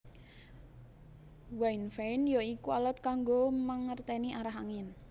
Wind vane ya iku alat kanggo mangerténi arah angin